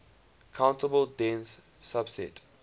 countable dense subset